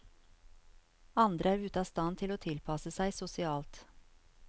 Andre er ute av stand til å tilpasse seg sosialt.